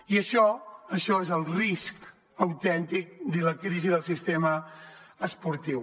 i això això és el risc autèntic i la crisi del sistema esportiu